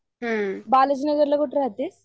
बाळंजयिनगरला कुठे राहते?